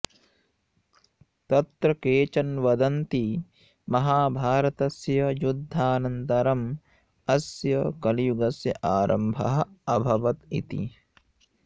तत्र केचन वदन्ति महाभारतस्य युद्धानन्तरम् अस्य कलियुगस्य आरम्भः अभवत् इति